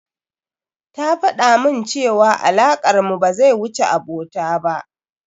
Ta faɗamun cewa alakar mu ba zai wuce abota ba.